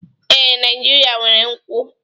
Ee, Naijiria nwere nkwu.